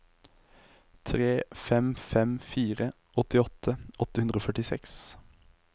tre fem fem fire åttiåtte åtte hundre og førtiseks